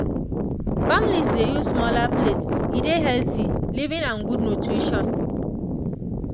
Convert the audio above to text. families dey use smaller plates e dey healthy living and good nutrition.